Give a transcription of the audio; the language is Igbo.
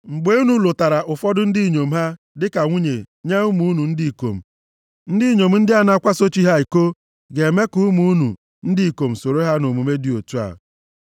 Mgbe unu lụtara ụfọdụ ndị inyom ha dịka nwunye nye ụmụ unu ndị ikom, ndị inyom ndị a na-akwaso chi ha iko, ga-eme ka ụmụ unu ndị ikom soro ha nʼomume dị otu a.